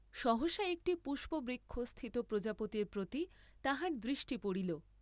সহসা একটি পুষ্পবৃক্ষস্থিত প্রজাপতির প্রতি তাহার দৃষ্টি পড়িল।